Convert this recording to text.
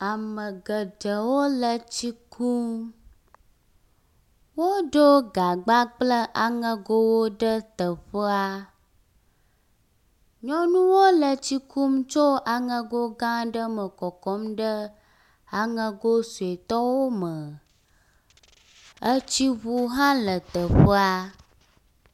Ame geɖewo le etsi kum. Woɖo gagba kple aŋegowo ɖe teƒea. Nyɔnuwo le tsi kum tso aŋego gã aɖe me kɔkɔm ɖe aŋego sɔetɔwo me. Etsiŋu hã le teƒea.